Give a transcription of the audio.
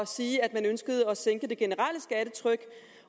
sige at man ønskede at sænke det generelle skattetryk